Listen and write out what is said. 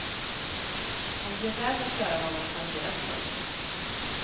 Om det är värt att göra vad man planerat. punkt